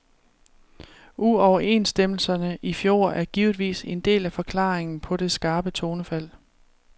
Uoverenstemmelserne i fjor er givetvis en del af forklaringen på det skarpe tonefald.